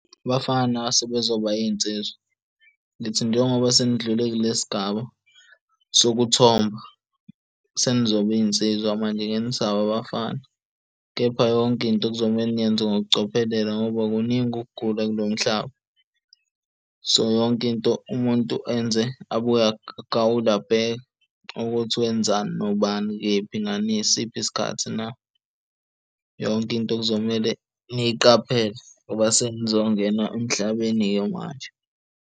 Abafana sebezoba iy'nsizwa, ngithi njengoba senindlule kule sigaba sokuthomba senizoba iy'nsizwa manje angeke nisaba abafana. Kepha yonke into kuzomele niyenze ngokucophelela, ngoba kuningi ukugula kulo mhlaba. So, yonke into umuntu enze abuya agawule, abheke ukuthi wenzani, nobani, kephi, nasiphi isikhathi na. Yonke into kuzomele niyiqaphele ngoba senizongena emhlabeni-ke manje.